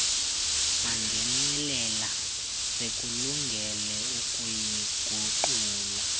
mangenelela sikulungele ukuyiguqula